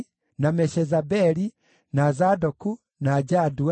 na Meshezabeli, na Zadoku, na Jadua,